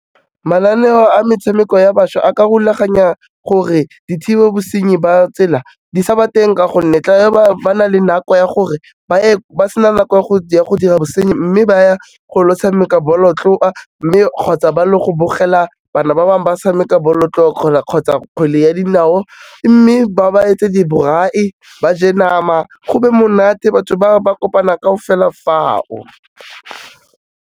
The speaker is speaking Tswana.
Mananeo a metshameko ya bašwa a ka rulaganya gore dithibabosenyi ba tsela di sa ba teng ka gonne, tlabe ba na le nako ya gore ba sena nako ya go ya go dira bosenyi mme ba ya go ile go tshameka bolotloa, mme kgotsa ba ye go bogela bana ba bangwe ba tshameka bolotloa kgotsa kgwele ya dinao mme ba etse di-braai ba je nama go be monate batho bao ba kopana kaofela fao.